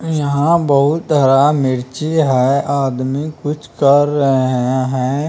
यहाँ बहुत हरा मिर्ची है आदमी कुछ कर रहें हैं।